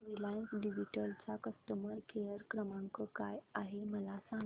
Reliance digital चा customer care क्रमांक काय आहे मला सांगा